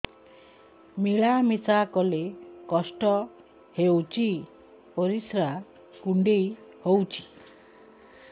ମିଳା ମିଶା କଲେ କଷ୍ଟ ହେଉଚି ପରିସ୍ରା କୁଣ୍ଡେଇ ହଉଚି